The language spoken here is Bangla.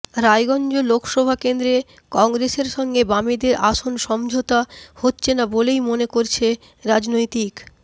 রায়গঞ্জ লোকসভা কেন্দ্রে কংগ্রেসের সঙ্গে বামেদের আসন সমঝোতা হচ্ছে না বলেই মনে করছে রাজনৈতিক